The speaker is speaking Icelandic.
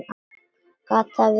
Gat það verið.?